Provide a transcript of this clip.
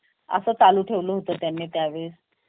असं चालू ठेवलं होतं त्यांनी त्या वेळेस